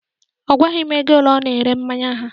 Ọ gwaghị m ego ole a na-ere mmanya ha